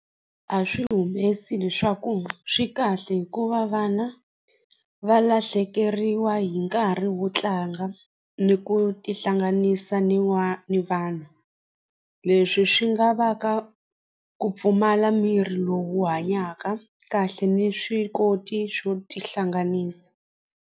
A swi humesi leswaku swi kahle hikuva vana va lahlekeriwa hi nkarhi wo tlanga ni ku tihlanganisa ni wa ni vanhu leswi swi nga va ka ku pfumala miri lowu hanyaka kahle ni swi koti swo tihlanganisa.